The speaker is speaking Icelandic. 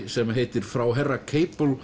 sem heitir frá herra